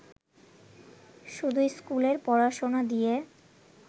শুধু স্কুলের পড়াশোনা দিয়ে